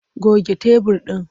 Goge tebur ɗin!